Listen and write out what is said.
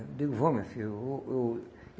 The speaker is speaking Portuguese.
Eu digo, vamos, minha filha. Eu eu